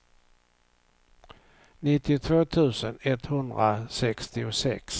nittiotvå tusen etthundrasextiosex